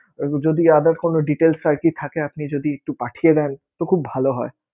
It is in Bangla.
যদি other কোন details আরকি থাকে আপনি যদি একটু পাঠিয়ে দেন, তো খুব ভালো হয়.